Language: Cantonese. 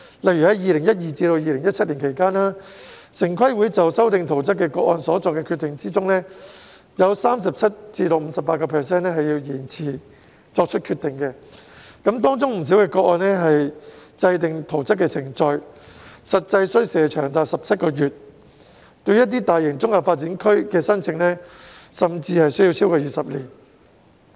例如2012年至2017年期間，在城規會就修訂圖則個案所作的決定中，有 37% 至 58% 是需要延遲作出決定的，當中不少個案制訂圖則的程序實際需時長達17個月；一些大型綜合發展區的申請，甚至需時超過20年。